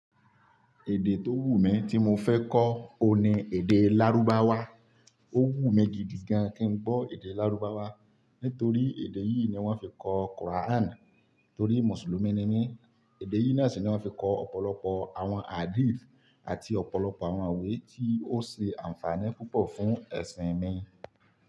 Èdè tó wù mí tí mo fẹ́ kọ́, òhun ní èdè Lárúbáwá. Ó wù mí gidi gan kin gbọ́ èdè Lárúbáwá, nítorí èdè yìí ni wọ́n fi kọ Quran, torí Mùsùlùmí ni mí. Èdè yìí náà sì ni wọ́n fi kọ ọ̀pọ̀lọpọ̀ àwọn Hadith àti ọ̀pọ̀lọpọ̀ àwọn iwe tí ó ṣe àǹfààní púpọ̀ fún ẹṣin mi.